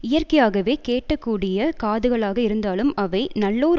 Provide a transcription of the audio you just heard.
இயற்கையாகவே கேட்க கூடிய காதுகளாக இருந்தாலும் அவை நல்லோர்